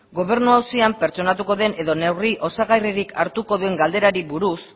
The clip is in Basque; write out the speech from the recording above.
gobernu auzian pertsonatuko den edo neurri osagarririk hartuko duen galderari buruz